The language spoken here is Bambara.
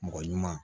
Mɔgɔ ɲuman